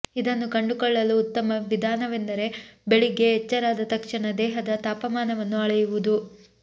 ಇದನ್ನು ಕಂಡುಕೊಳ್ಳಲು ಉತ್ತಮ ವಿಧಾನವೆಂದರೆ ಬೆಳಿಗ್ಗೆ ಎಚ್ಚರಾದ ತಕ್ಷಣ ದೇಹದ ತಾಪಮಾನವನ್ನು ಅಳೆಯುವುದು